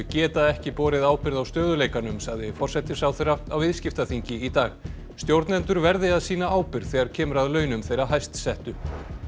geta ekki borið ábyrgð á stöðugleikanum sagði forsætisráðherra á viðskiptaþingi í dag stjórnendur verði að sýna ábyrgð þegar kemur að launum þeirra hæst settu